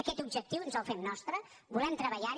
aquest objectiu ens el fem nostre volem treballar hi